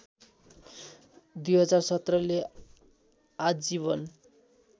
२०१७ ले आजीवन